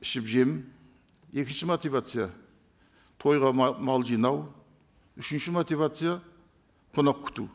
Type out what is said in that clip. ішіп жем екінші мотивация тойға мал жинау үшінші мотивация қонақ күту